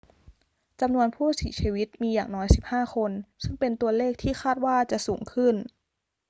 จำนวนผู้เสียชีวิตมีอย่างน้อย 15 คน ซึ่งเป็นตัวเลขที่คาดว่าจะสูงขึ้น